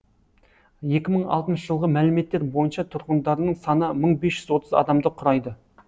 екі мың бесінші жылғы жылғы мәліметтер бойынша тұрғындарының саны мың бес жүз адамды құрайды